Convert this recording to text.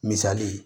Misali ye